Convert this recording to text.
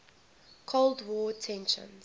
cold war tensions